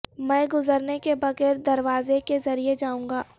میں گزرنے کے بغیر دروازے کے ذریعے جاوں گا